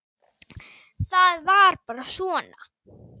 Það var bara svona.